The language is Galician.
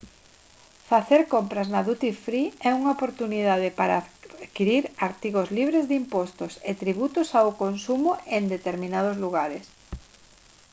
facer compras na duty free é unha oportunidade para adquirir artigos libres de impostos e tributos ao consumo en determinados lugares